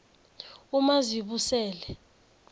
umazibusele